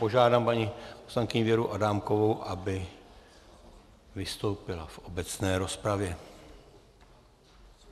Požádám paní poslankyni Věru Adámkovou, aby vystoupila v obecné rozpravě.